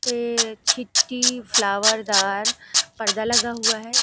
ये छीट्टी फ्लावर दार पर्दा लगा हुआ है।